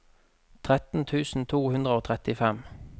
tretten tusen to hundre og trettifem